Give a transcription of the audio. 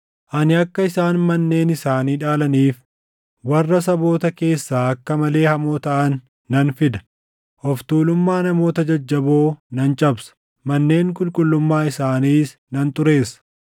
Ani akka isaan manneen isaanii dhaalaniif warra saboota keessaa akka malee hamoo taʼan nan fida; of tuulummaa namoota jajjaboo nan cabsa; manneen qulqullummaa isaaniis nan xureessa.